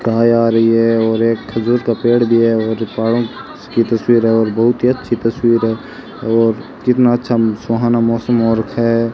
गाय आ रही है और एक खजूर का पेड़ भी है और पहाड़ों की तस्वीर और बहुत ही अच्छी तस्वीर है और कितना अच्छा सुहाना मौसम हो रखा है।